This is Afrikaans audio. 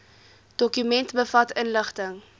dokument bevat inligting